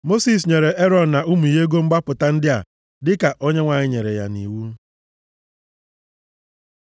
Mosis nyere Erọn na ụmụ ya ego mgbapụta ndị a dịka Onyenwe anyị nyere ya nʼiwu.